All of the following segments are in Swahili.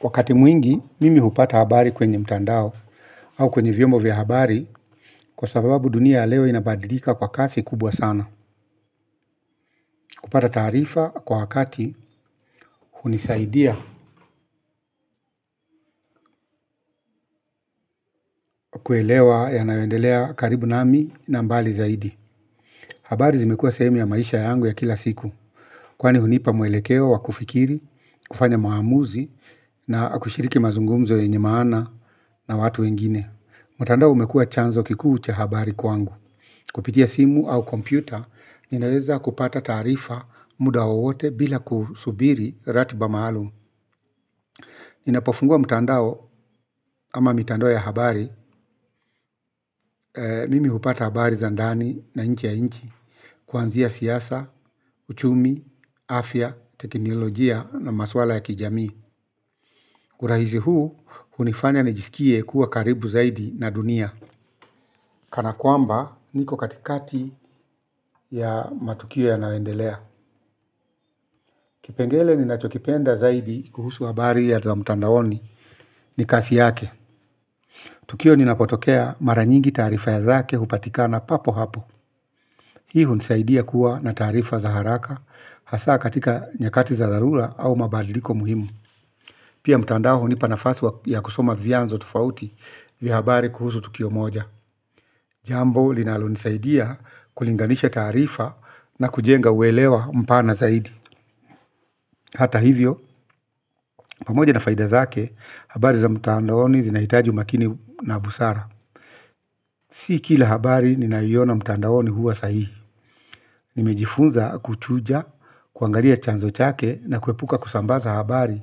Wakati mwingi, mimi hupata habari kwenye mtandao au kwenye vyombo vya habari kwa sababu dunia leo inabadilika kwa kasi kubwa sana kupata taarifa kwa wakati hunisaidia kuelewa yanayoendelea karibu nami na mbali zaidi. Habari zimekuwa sehemu ya maisha yangu ya kila siku kwani hunipa mwelekeo wa kufikiri kufanya maamuzi na kushiriki mazungumzo yenye maana na watu wengine mtandao umekuwa chanzo kikuu cha habari kwangu. Kupitia simu au kompyuta, ninaweza kupata taarifa muda wowote bila kusubiri ratiba maalumu. Ninapofungua mtandao ama mitandao ya habari, mimi hupata habari za ndani na nje ya nchi. Kuanzia siasa, uchumi, afya, teknolojia na maswala ya kijamii. Urahisi huu hunifanya nijisikie kuwa karibu zaidi na dunia. Kana kwamba niko katikati ya matukio yanayoendelea. Kipengele ninachokipenda zaidi kuhusu habari za mtandaoni ni kasi yake. Tukio linapotokea mara nyingi taarifa zake hupatikana papo hapo. Hii hunisaidia kuwa na taarifa za haraka hasa katika nyakati za dharura au mabadiliko muhimu. Pia mtandao hunipa nafasi ya kusoma vyanzo tofauti vya habari kuhusu tukio moja. Jambo linalonisaidia kulinganisha taarifa na kujenga uelewa mpana zaidi. Hata hivyo, pamoja na faida zake, habari za mtandaoni zinahitaji umakini na busara. Si kila habari ninayoiona mtandaoni huwa sahihi. Nimejifunza kuchuja kuangalia chanzo chake na kuepuka kusambaza habari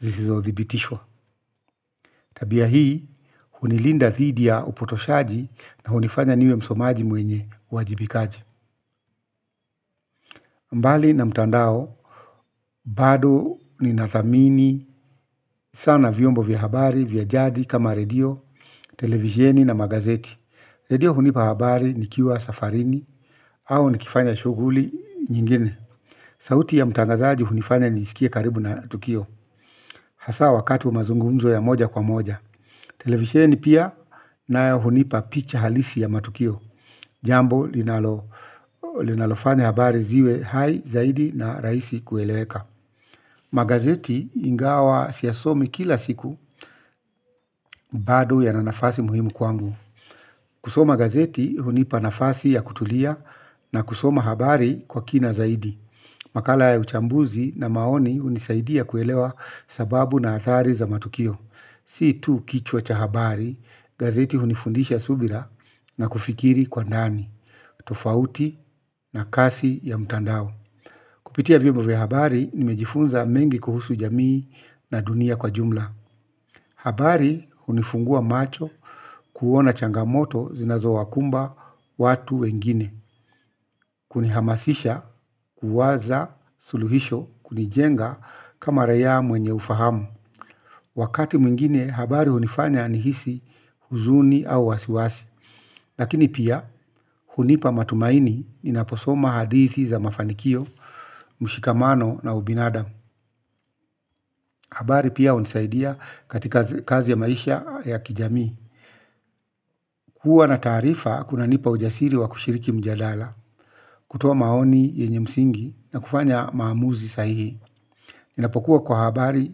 zisizothibitishwa. Tabia hii hunilinda dhidi ya upotoshaji na hunifanya niwe msomaji mwenye uwajibikaji. Mbali na mtandao, bado ninathamini sana vyombo vya habari vya jadi kama redio, televisheni na magazeti. Redio hunipa habari nikiwa safarini au nikifanya shughuli nyingine. Sauti ya mtangazaji hunifanya nijisikie karibu na tukio. Hasa wakati wa mazungumzo ya moja kwa moja. Televisheni pia nayo hunipa picha halisi ya matukio. Jambo linalofanya habari ziwe hai zaidi na rahisi kueleweka. Magazeti ingawa siyasomi kila siku bado yana nafasi muhimu kwangu. Kusoma gazeti hunipa nafasi ya kutulia na kusoma habari kwa kina zaidi. Makala ya uchambuzi na maoni hunisaidia kuelewa sababu na athari za matukio. Si tu kichwa cha habari, gazeti hunifundisha subira na kufikiri kwa ndani, tofauti na kasi ya mtandao. Kupitia vyombo vya habari nimejifunza mengi kuhusu jamii na dunia kwa jumla. Habari hunifungua macho kuona changamoto zinazowakumba watu wengine. Kunihamasisha, kuwaza suluhisho, kunijenga kama raia mwenye ufahamu. Wakati mwingine habari hunifanya nihisi huzuni au wasiwasi lakini pia hunipa matumaini ninaposoma hadithi za mafanikio mshikamano na ubinadamu. Habari pia hunisaidia katika kazi ya maisha ya kijamii. Kuwa na taarifa kunanipa ujasiri wa kushiriki mjadala, kutoa maoni yenye msingi na kufanya maamuzi sahihi. Ninapokuwa kwa habari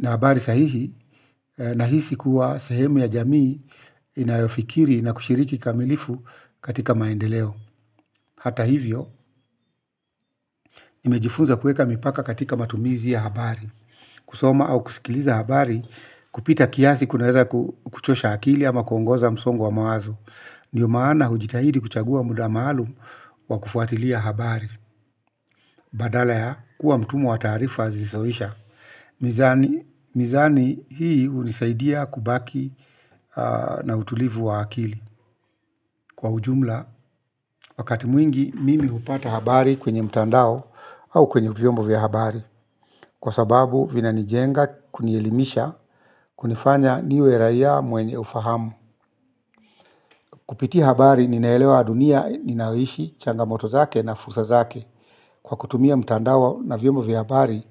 na habari sahihi, nahisi kuwa sehemu ya jamii inayofikiri na kushiriki kamilifu katika maendeleo. Hata hivyo, nimejifunza kuweka mipaka katika matumizi ya habari. Kusoma au kusikiliza habari kupita kiasi kunaweza kukuchosha akili ama kuongeza msongo wa mawazo. Ndiyo maana hujitahidi kuchagua muda maalumu wa kufuatilia habari. Badala ya kuwa mtumwa wa taarifa zisizoisha. Mizani hii hunisaidia kubaki na utulivu wa akili kwa ujumla wakati mwingi mimi hupata habari kwenye mtandao au kwenye vyombo vya habari kwa sababu vinanijenga kunielimisha kunifanya niwe raia mwenye ufahamu. Kupitia habari ninaelewa dunia ninayoishi changamoto zake na fursa zake kwa kutumia mtandao na vyombo vya habari.